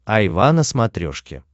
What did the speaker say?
айва на смотрешке